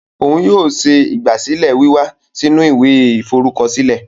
Òún yóò ṣe ìgbàsílẹ̀ wíwá sì inú ìwé iforukọsilẹ